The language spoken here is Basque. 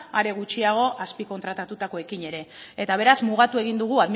are gutxiago azpikontratatuekin ere beraz mugatu egin dugu